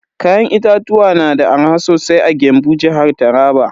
Kayan itatuwa na da arha sosai a Gembu, jihar Taraba.